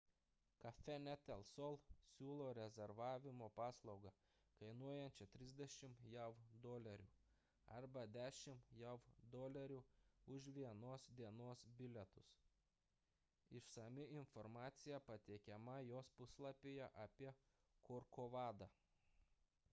cafenet el sol siūlo rezervavimo paslaugą kainuojančią 30 jav dolerių arba 10 jav dolerių už vienos dienos bilietus išsami informacija pateikiama jos puslapyje apie korkovadą